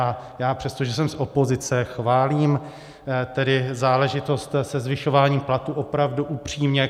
A já přesto, že jsem z opozice, chválím tedy záležitost se zvyšováním platů, opravdu upřímně.